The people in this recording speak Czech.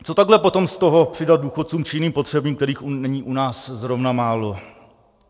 Co takhle potom z toho přidat důchodcům či jiným potřebným, kterých není u nás zrovna málo?